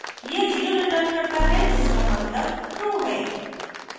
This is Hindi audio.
यह zero returns करता है जिसका मतलब true है